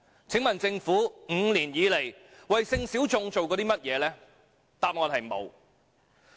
請問政府 ，5 年以來，為性小眾做過甚麼？